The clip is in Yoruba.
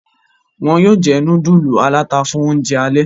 Wón yóò jé nudulu alata fún oúnjẹ alè.